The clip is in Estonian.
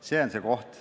See on see koht.